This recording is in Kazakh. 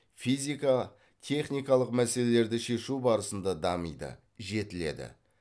физика техникалық мәселелерді шешу барысында дамиды жетіледі